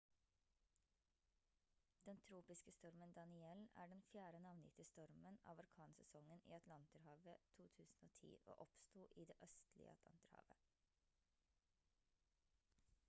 den tropiske stormen danielle er den fjerde navngitte stormen av orkansesongen i atlanterhavet 2010 og oppsto i det østlige atlanterhavet